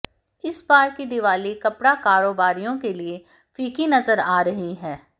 इस बार की दीवाली कपड़ा कारोबारियों के लिए फीकी नजर आ रही है